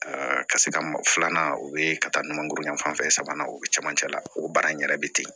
ka se ka filanan o ye ka taa ɲuman goroyan fanfɛ sabanan o be cɛmancɛ la o baara in yɛrɛ be ten